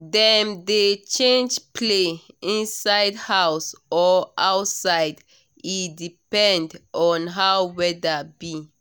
dem dey change play inside house or outside e depend on how weather be